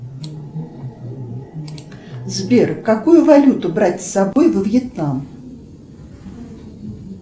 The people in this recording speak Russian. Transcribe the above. сбер какую валюту брать с собой во вьетнам